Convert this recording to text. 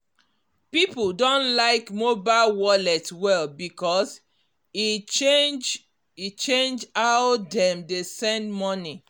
people don like mobile wallet well because e change e change how dem dey send money